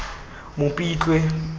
mopitlwe